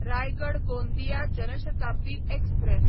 Raigad Gondia Jan Shatabdi express